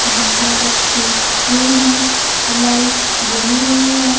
Bouquet रखी हुई है लाइट जली हुई है।